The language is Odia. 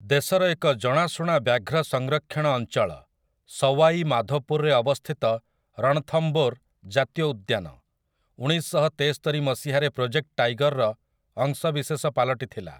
ଦେଶର ଏକ ଜଣାଶୁଣା ବ୍ୟାଘ୍ର ସଂରକ୍ଷଣ ଅଞ୍ଚଳ, ସୱାଇ ମାଧୋପୁରରେ ଅବସ୍ଥିତ ରଣଥମ୍ଭୋର୍ ଜାତୀୟ ଉଦ୍ୟାନ, ଉଣେଇଶଶହତେସ୍ତରି ମସିହାରେ ପ୍ରୋଜେକ୍ଟ ଟାଇଗର୍‌ର ଅଂଶବିଶେଷ ପାଲଟିଥିଲା ।